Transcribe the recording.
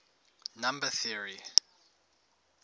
number theory